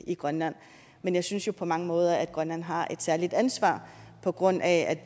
i grønland men jeg synes jo på mange måder at grønland har et særligt ansvar på grund af